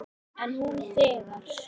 En hún þegir.